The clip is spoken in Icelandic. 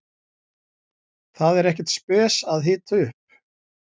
Það er ekkert spes að hita upp.